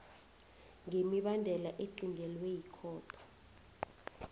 ngemibandela equntelwe yikhotho